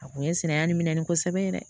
A kun ye sinɛya nin minɛ nin kosɛbɛ yɛrɛ